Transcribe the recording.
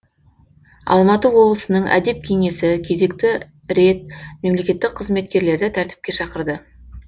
алматы облысының әдеп кеңесі кезекті рет мемлекеттік қызметкерлерді тәртіпке шақырды